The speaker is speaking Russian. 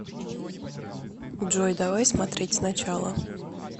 джой давай смотреть сначала